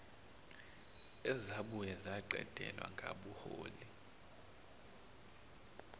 ezabuye zaqedelwa ngabuholi